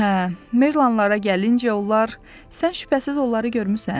Hə, merlanlara gəlincə onlar, sən şübhəsiz onları görmüsən?